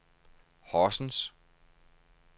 Horsens